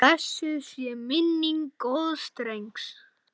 Blessuð sé minning góðs drengs.